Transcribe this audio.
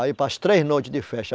Aí, para as três noites de festa.